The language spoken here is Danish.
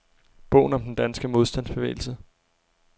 Bogen om den danske modstandsbevægelse.